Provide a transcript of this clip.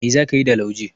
Mai za ka yi da lauje?